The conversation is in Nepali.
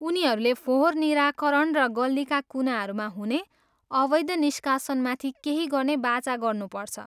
उनीहरूले फोहोर निराकरण र गल्लीका कुनाहरूमा हुने अवैध निष्कासनमाथि केही गर्ने बाचा गर्नुपर्छ।